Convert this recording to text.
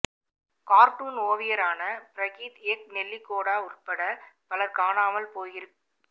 cartoon ஓவியரான Prageeth Eknaligoda உள்பட பலர் காணாமல் போயிருக்